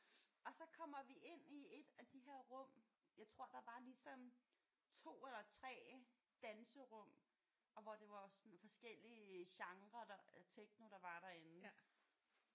Og så kommer vi ind i et af de her rum jeg tror der var ligesom 2 eller 3 danserum og hvor det var sådan forskellige genrer der af techno der var derinde